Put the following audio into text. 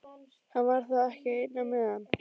Hann var þá ekki einn á meðan.